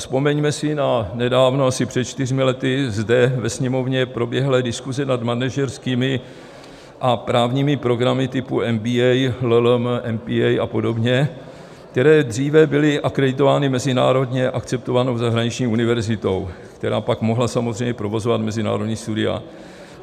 Vzpomeňme si na nedávno, asi před čtyřmi lety, zde ve Sněmovně proběhlé diskuse nad manažerskými a právními programy typu MBA, LL.M., MPA a podobně, které dříve byly akreditovány mezinárodně akceptovanou zahraniční univerzitou, která pak mohla samozřejmě provozovat mezinárodní studia.